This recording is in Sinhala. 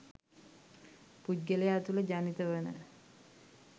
පුද්ගලයා තුළ ජනිත වන